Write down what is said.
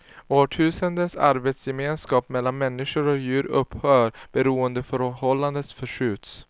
Årtusendens arbetsgemenskap mellan människa och djur upphör, beroendeförhållanden förskjuts.